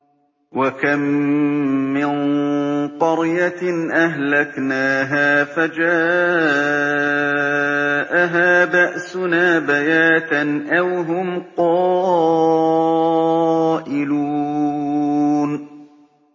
وَكَم مِّن قَرْيَةٍ أَهْلَكْنَاهَا فَجَاءَهَا بَأْسُنَا بَيَاتًا أَوْ هُمْ قَائِلُونَ